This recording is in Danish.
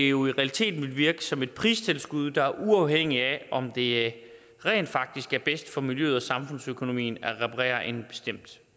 jo i realiteten ville virke som et pristilskud der er uafhængigt af om det rent faktisk er bedst for miljøet og samfundsøkonomien at reparere en bestemt